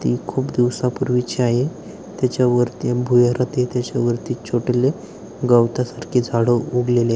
ती खूप दिवसा पूर्वी ची आहे त्याच्या वरती भुयारात छोटेल गवता सारखे झाड उगलेले--